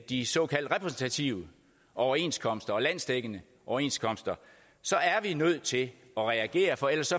de såkaldt repræsentative overenskomster og landsdækkende overenskomster så er vi nødt til at reagere for ellers